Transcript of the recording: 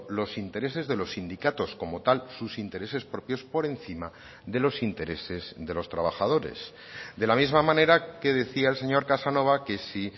los intereses de los sindicatos como tal sus intereses propios por encima de los intereses de los trabajadores de la misma manera que decía el señor casanova que si